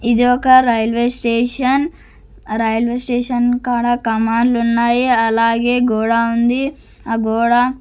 ఇది ఒక railway station railway station కాడ కమాండ్లున్నాయి అలాగే గూడా ఉంది ఆ గూడా --